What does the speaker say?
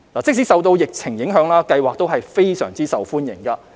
即使受到疫情影響，計劃仍非常受歡迎。